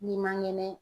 N'i man ŋɛnɛ